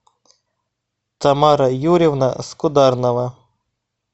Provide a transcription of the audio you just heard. тамара юрьевна скударнова